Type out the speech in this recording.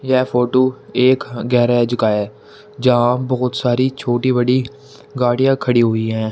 यह फोटो एक गैरेज का है। जहां बहोत सारी छोटी-बड़ी गाड़ियां खड़ी हुई है।